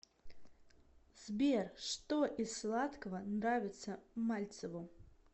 сбер что из сладкого нравится мальцеву